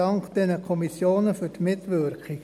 Dank an diese Kommissionen für die Mitwirkung.